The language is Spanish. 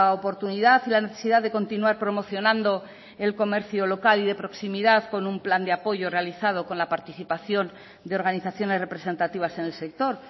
oportunidad y la necesidad de continuar promocionando el comercio local y de proximidad con un plan de apoyo realizado con la participación de organizaciones representativas en el sector